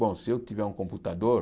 Bom, se eu tiver um computador...